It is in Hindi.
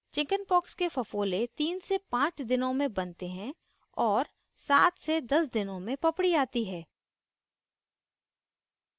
chickenpox के फफोले 35 दिनों में बनते हैं और 710 दिनों में पपड़ी आती है